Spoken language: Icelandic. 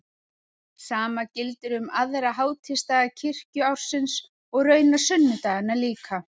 Sama gildir um aðra hátíðisdaga kirkjuársins og raunar sunnudagana líka.